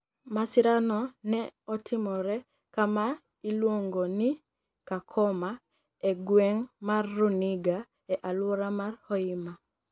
Masirano ni e otimore kama iluonigo nii Kakoma e gwenig ' mar Runiga, e alwora mar Hoima.